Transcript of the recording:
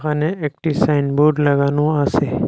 এখানে একটি সাইনবোর্ড লাগানো আসে ।